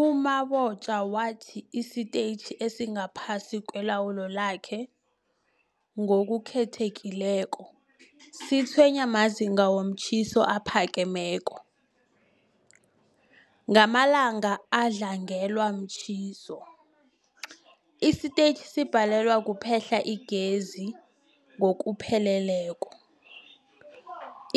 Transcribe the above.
U-Mabotja wathi isitetjhi esingaphasi kwelawulo lakhe, ngokukhethekileko, sitshwenywa mazinga womtjhiso aphakemeko. Ngamalanga adlangelwe mtjhiso, isitetjhi sibhalelwa kuphehla igezi ngokupheleleko.